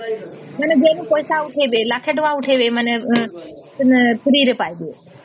ମାନେ bank ପଇସା ଉଠେଇବେ ଲକ୍ଷେ ଟଙ୍କା ଉଠେଇବେ ମାନେ free ରେ ପାଇବେ